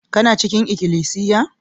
Kana cikin ikilisiya?